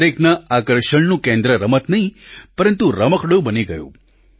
દરેકના આકર્ષણનું કેન્દ્ર રમત નહીં પરંતુ રમકડું બની ગયું